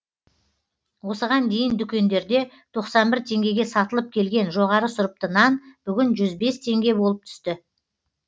осыған дейін дүкендерде тоқсан бір теңгеге сатылып келген жоғары сұрыпты нан бүгін жүз бес теңге болып түсті